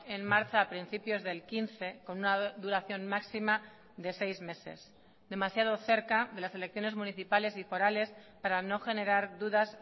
en marcha a principios del quince con una duración máxima de seis meses demasiado cerca de las elecciones municipales y forales para no generar dudas